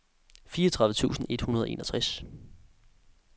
fireogtredive tusind et hundrede og enogtres